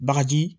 Bagaji